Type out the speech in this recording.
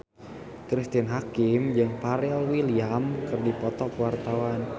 Cristine Hakim jeung Pharrell Williams keur dipoto ku wartawan